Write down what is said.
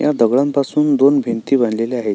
ह्या दगडांपासून दोन भिंती बांधलेल्या आहेत.